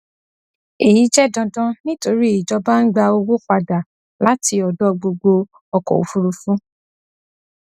èyí jẹ dandan nítorí ìjọba ń gba owó padà láti ọdọ gbogbo ọkọ òfúrufú